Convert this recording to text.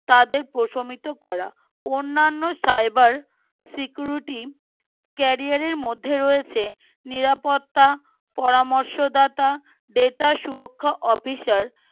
তাদের প্রশমিত করা অন্যান্য cyber security career এর মধ্যে রয়েছে নিরাপত্তা পরামর্শদাতা data সুরক্ষা officer